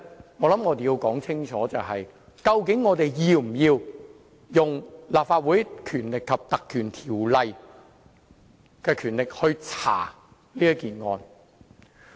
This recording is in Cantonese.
我認為我們必須搞清楚，是否要引用《立法會條例》調查這事件。